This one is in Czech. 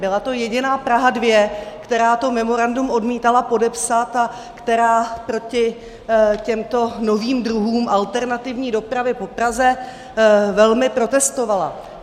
Byla to jediná Praha 2, která to memorandum odmítala podepsat a která proti těmto novým druhům alternativní dopravy po Praze velmi protestovala.